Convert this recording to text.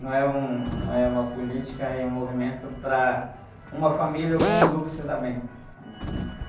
Não é um, não é uma política e um movimento para uma família ou para um grupo se dar bem.